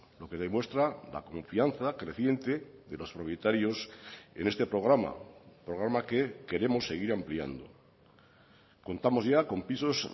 lo que demuestra la confianza creciente de los propietarios en este programa programa que queremos seguir ampliando contamos ya con pisos